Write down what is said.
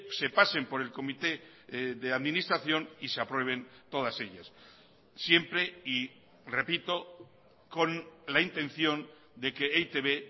se pasen por el comité de administración y se aprueben todas ellas siempre y repito con la intención de que e i te be